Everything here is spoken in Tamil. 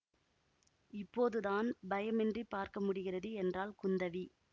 இப்போது தான் பயமின்றிப் பார்க்க முடிகிறது என்றாள் குந்தவி